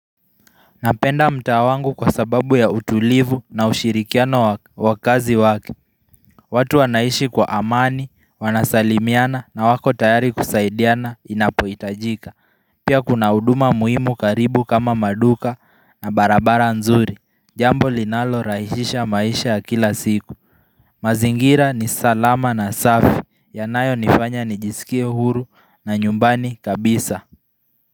Napenda mtaa wangu kwa sababu ya utulivu na ushirikiano wa wakazi wake. Watu wanaishi kwa amani, wanasalimiana na wako tayari kusaidiana inapoitajika Pia kuna huduma muhimu karibu kama maduka na barabara nzuri Jambo linalo rahishisha maisha ya kila siku mazingira ni salama na safi, yanayo nifanya nijisikie huru na nyumbani kabisa.